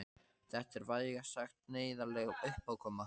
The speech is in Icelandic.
Þetta er vægast sagt neyðarleg uppákoma.